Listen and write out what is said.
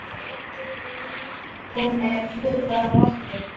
Hún er hluti af okkur.